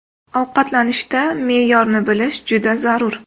Ovqatlanishda me’yorni bilish juda zarur.